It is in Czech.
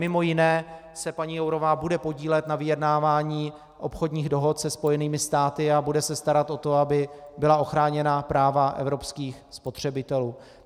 Mimo jiné se paní Jourová bude podílet na vyjednávání obchodních dohod se Spojenými státy a bude se starat o to, aby byla ochráněna práva evropských spotřebitelů.